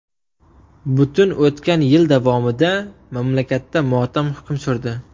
Butun o‘tgan yil davomida mamlakatda motam hukm surdi.